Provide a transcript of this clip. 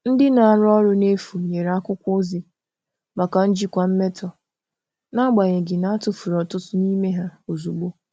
Ndị na-arụ ọrụ n'efu nyere akwụkwọ ozi maka njikwa mmetọ, n'agbanyeghị na a tufuru ọtụtụ n'ime ha ozugbo.